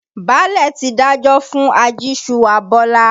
Báàlẹ̀ ti dájọ́ fún ajíṣuwà Bọ́lá.